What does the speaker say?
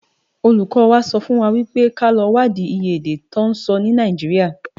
Ólúkò wá sòfúnwá wipé ká lò wádi iyé èdè tò nsò ni Náijiriá